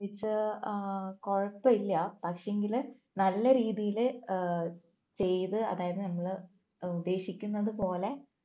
അഹ് കുഴപ്പമില്ല പക്ഷേങ്കില് നല്ല രീതിയില് അഹ് ചെയ്ത് അതായത് നമ്മള് ഏർ ഉദ്ദേശിക്കുന്നത് പോലെ